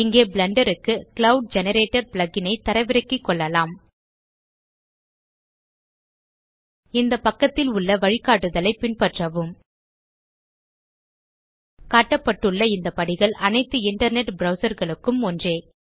இங்கே பிளெண்டர் க்கு cloud generator plug இன் ஐ தரவிறக்கி நிறுவிக்கொள்ளலாம் இந்த பக்கத்தில் உள்ள வழிகாட்டுதலை பின்பற்றவும் காட்டப்பட்டுள்ள இந்த படிகள் அனைத்து இன்டர்நெட் ப்ரவ்சர் களுக்கும் ஒன்றே